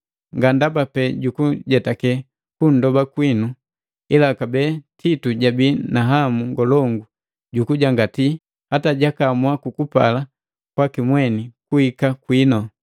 Nga ndaba pee jukujetake kundoba kwitu, ila kabee Titu jabii na hamu ngolongu jukujangatii, hata jakaamua kwa kupala kwaki mweni kuhika kwinu.